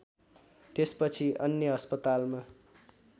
त्यसपछि अन्य अस्पतालमा